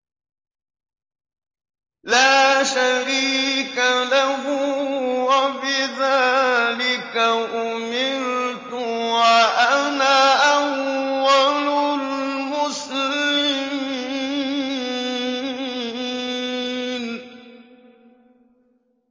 لَا شَرِيكَ لَهُ ۖ وَبِذَٰلِكَ أُمِرْتُ وَأَنَا أَوَّلُ الْمُسْلِمِينَ